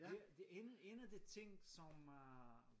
Det en en af de ting som øh